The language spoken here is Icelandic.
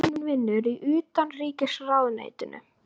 Systir mín vinnur í Utanríkisráðuneytinu.